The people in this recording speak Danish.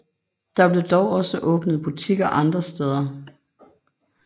Der blev dog også åbnet butikker andre steder